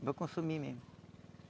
Para consumir mesmo.